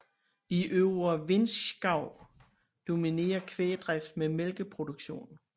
I øvre Vinschgau dominerer kvægdrift med mælkeproduktion